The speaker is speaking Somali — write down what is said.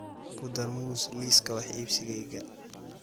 ku dar muus liiska wax iibsigayga